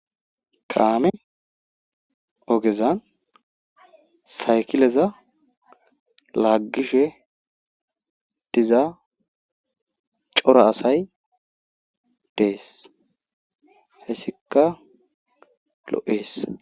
Kaame ogezan saykileza laagishe diza cora asay des hayssikka lo'ees.